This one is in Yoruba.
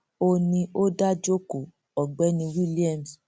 ó ní ó dáa jókòó ọgbẹni williams